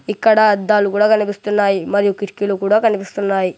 ఇక్కడ అద్దాలు కూడా కనిపిస్తున్నాయి మరియు కిటికీలు కూడా కనిపిస్తున్నాయి.